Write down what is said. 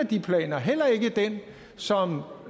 de planer heller ikke den som